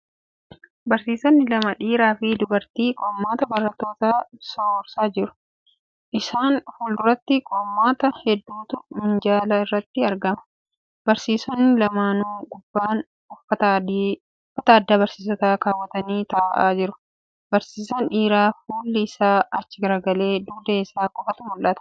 Barsiisonni lama dhiira fi dubarri qormaata barattootaa sororsaa jiru. Isasn fuulduratti qormaata heduutu minjaala irratti argama. Barsiisonni lamaanuu gubbaan uffata addaa barsiisotaa keewwatanii taa'aa jiru. Barsiisaan dhiiraa fuulli isaa achi garagalee dugda isaa qofatu mul'ata.